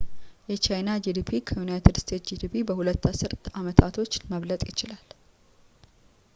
የቻይና ጂዲፒ ከዩናይትድ ስቴትስ ጂዲፒ በሁለት አስር አመታቶች መብለጥ ይችላል